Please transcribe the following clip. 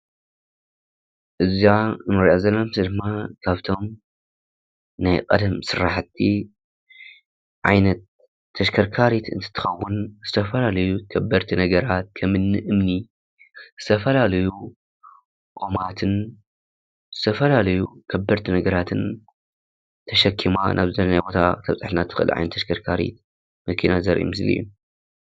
እዛ እንሪኣ ዘለና ምስሊ ድማ ካፍቶም ናይ ቀደም ስራሕቲ ዓይነት ተሽከርካሪት እንትትኸውን ዝተፈላለዩ ከበድቲ ነገራት ከምኒ እምኒ፣ ዝተፈላለዩ ቆማትን ዝተፈላለዩ ከበድቲ ነገራትን ተሸኪማ ናብ ዘደለናዮ ቦታ ክተብፅሓና ትኽእል ዓይነት ተሽከርከሪ መኪና ዘርኢ ምስሊ እዩ።